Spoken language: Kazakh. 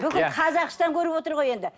бүкіл қазақстан көріп отыр ғой енді